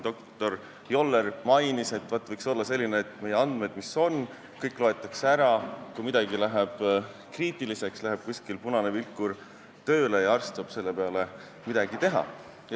Doktor Joller siin mainis, et võiks olla selline süsteem, et kõik meie andmed, mis on, loetakse ära ning kui midagi muutub kriitiliseks, läheb kuskil punane vilkur tööle ja arst saab selle peale midagi teha.